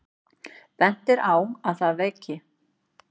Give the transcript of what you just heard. Bent er á að það veki